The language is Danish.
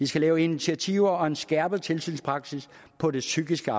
skal laves initiativer og en skærpet tilsynspraksis på det psykiske